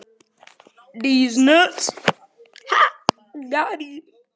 Verkinu lýkur í þann mund er Sverrir kemur til landa.